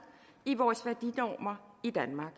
i vores værdinormer i danmark